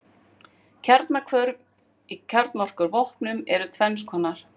Kjarnahvörf í kjarnorkuvopnum eru tvenns konar.